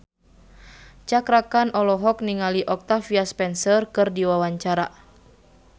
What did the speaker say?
Cakra Khan olohok ningali Octavia Spencer keur diwawancara